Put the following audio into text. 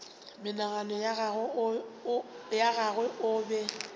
monagano wa gagwe o be